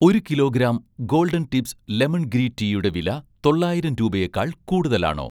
ഒരു kilogram 'golden tips' lemon green ടീയുടെ വില തൊള്ളായിരം രൂപയേക്കാൾ കൂടുതലാണോ